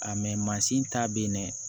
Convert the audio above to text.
A mansin ta bɛ yen dɛ